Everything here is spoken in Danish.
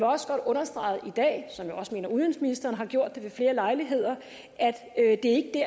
også godt understrege i dag som jeg også mener at udenrigsministeren har gjort det ved flere lejligheder at det